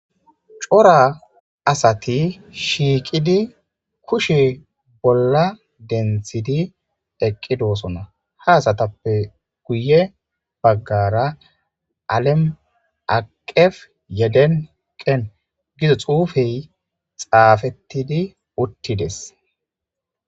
cora asati shiiqidi kushe bolla denthidi eqqidosona haasatappe guye baggara alem aqef yeden qen gido xuufey xaafettidi uttides